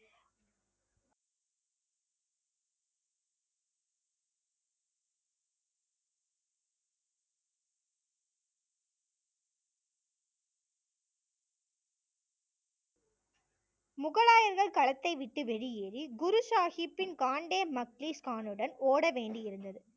முகலாயர்கள் களத்தை விட்டு வெளியேறி குரு சாஹிப்பின் காண்டே மக்லீஸ் கானுடன் ஒட வேண்டி இருந்தது